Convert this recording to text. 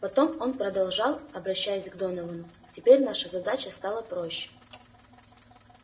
потом он продолжал обращаясь к доновану теперь наша задача стала проще